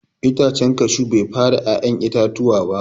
Itacen cashew Bai fara ya'yan itatuwa ba.